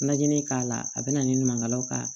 Najini k'a la a bɛ na ni ɲumangalaw ka